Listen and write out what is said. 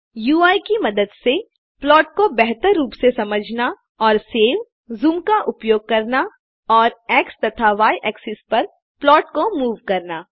UI की मदद से प्लॉट को बेहतर रूप से समझना और सेव ज़ूम का उपयोग करना और एक्स तथा य एक्सिस पर प्लॉट को मूव करना